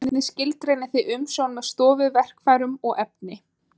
Hvernig skilgreinið þið umsjón með stofu, verkfærum og efni?